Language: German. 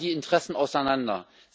Wo fallen die Interessen auseinander?